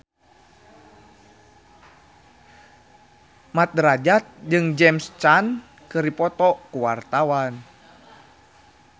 Mat Drajat jeung James Caan keur dipoto ku wartawan